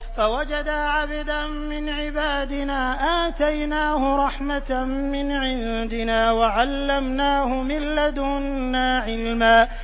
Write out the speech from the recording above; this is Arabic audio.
فَوَجَدَا عَبْدًا مِّنْ عِبَادِنَا آتَيْنَاهُ رَحْمَةً مِّنْ عِندِنَا وَعَلَّمْنَاهُ مِن لَّدُنَّا عِلْمًا